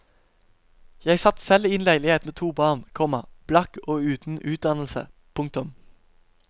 Jeg satt selv i en leilighet med to barn, komma blakk og uten utdannelse. punktum